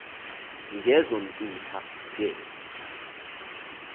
ngezo ntupha ke